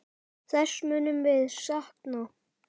Þess munum við sakna.